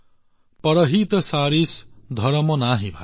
পৰহিত সৰিস ধৰ্ম নহী ভাই